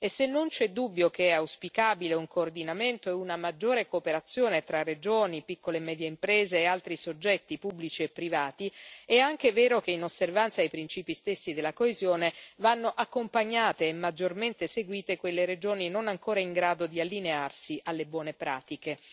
Se non c'è dubbio che sono auspicabili un coordinamento e una maggiore cooperazione tra regioni, piccole e medie imprese e altri soggetti pubblici e privati, è anche vero che, in osservanza ai principi stessi della coesione, vanno accompagnate e maggiormente seguite quelle regioni non ancora in grado di allinearsi alle buone pratiche.